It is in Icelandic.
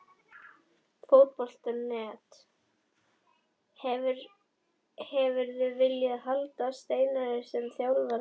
Fótbolti.net: Hefðirðu viljað halda Steinari sem þjálfara?